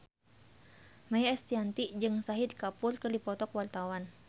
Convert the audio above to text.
Maia Estianty jeung Shahid Kapoor keur dipoto ku wartawan